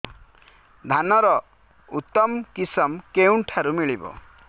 ଧାନର ଉତ୍ତମ କିଶମ କେଉଁଠାରୁ ମିଳିବ